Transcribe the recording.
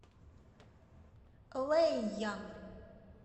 лэйян